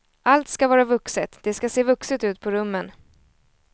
Allt ska vara vuxet, det ska se vuxet ut på rummen.